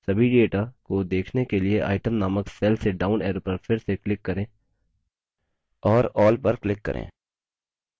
सभी data को देखने के लिए item named cell के डाउन arrow पर फिर से click करें और all पर click करें